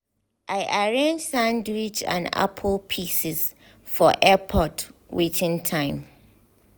i arrange sandwich and apple pieces for airport waiting time.